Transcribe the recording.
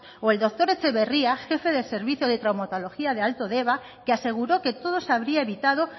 o el doctor etxebarria jefe de servicio de traumatología de alto deba que aseguró que todo se habría evitado